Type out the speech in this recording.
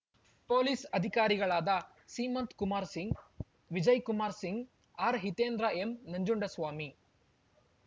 police ಅಧಿಕಾರಿಗಳಾದ ಸೀಮಂತ್‌ಕುಮಾರ್‌ ಸಿಂಗ್‌ ಬಿಜಯ್‌ ಕುಮಾರ್‌ ಸಿಂಗ್‌ ಆರ್‌ಹೀತೆಂದ್ರ ಎಂನಂಜುಂಡಸ್ವಾಮಿ